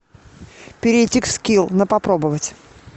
перейти к скилл на попробовать